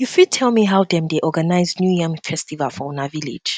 you fit tell me how them dey organize new yam festival for una village